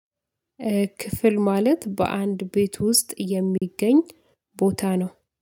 ክፍል ማለት በአንድ ቤት ውስጥ የሚገኝ ቦታ ነው።